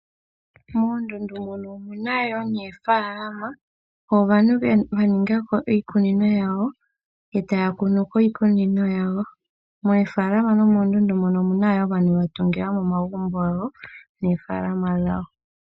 Moondunda mono omuna woo oofaalama, aantu yaningako iikunino yawo ndele tayakunu mo miikunino yawo. Meefalama nomeendundu mono omuna woo aantu yatungilamo omagumbo gawo neefalama dhawo.